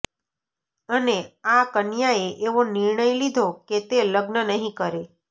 અને આ કન્યાએ એવો નિર્ણય લીધો કે તે લગ્ન નહીં કરે